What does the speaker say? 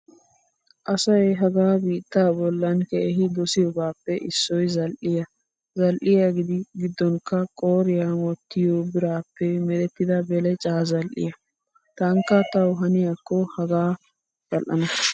Asayi hagaa biittaa bollan keehi dosiyoobaappe issoyi zali'iyaa zal''iyaa giddonkka qooriyaan wottiyoo biraappe merettida belecaa zal''iyaa. Tankka tawu haniyaakko hagaa zl''ana.